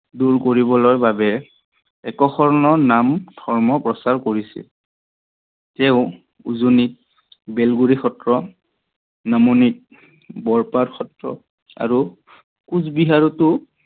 দূৰ কৰিবৰ বাবে এক শৰন নাম ধৰ্ম প্ৰচাৰ কৰিছিল। তেও উজনিত বেলগুড়ি সত্ৰ, নামনিত বৰপাত সত্ৰ আৰু কোচবিহাৰটো